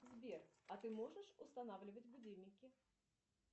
сбер а ты можешь устанавливать будильники